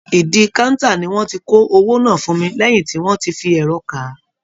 Ìdí káńtà ni wọ́n ti kó oweó náà fún mi lẹ́yìn tí wọ́n ti fi ẹ̀rọ kà á